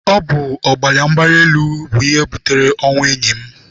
Ọ bụ ọbara mgbali elu bụ ihe butere ọnwụ enyi m.